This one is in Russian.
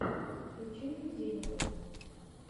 включи мне дельного